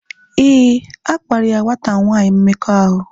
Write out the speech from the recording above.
Éè, akparia nwata nwanyi mmekọahụ